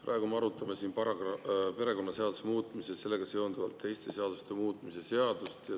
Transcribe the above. Praegu me arutame siin perekonnaseaduse muutmise ja sellega seonduvalt teiste seaduste muutmise seadust.